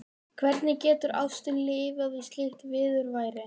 Hvernig getur ástin lifað við slíkt viðurværi?